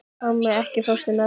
Ármey, ekki fórstu með þeim?